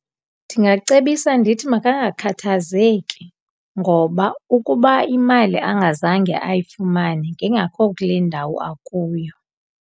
Ndingacebisa ndithi makangakhathazeki ngoba ukuba imali angazange ayifumane ngengakho kule ndawo akuyo.